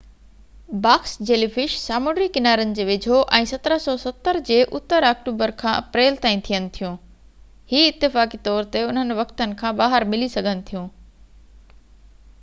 box jellyfish سامونڊي ڪنارن جي ويجھو ۽ 1770 جي اتر آڪٽوبر کان اپريل تائين ٿين ٿيون .هي اتفاقي طور تي انهي وقتن کان ٻاهر ملي سگهن ٿيون